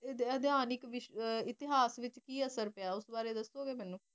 ਅਧਿਹਾਨਿਕ ਇਤਿਹਾਸ ਵਿਚ ਕਿ ਅਸਰ ਪਿਆ ਉਸ ਬਾਰੇ ਦੱਸੋਗੇ ਮੈਨੂੰ